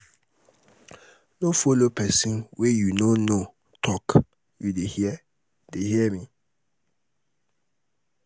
no follow pesin wey you no know talk you dey hear dey hear me?